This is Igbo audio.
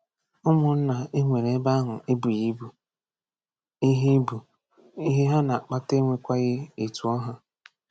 Ụmụnna e nwere ebe ahụ ebughị ibu, ihe ibu, ihe ha na-akpata enwekwaghị etu ọ ha.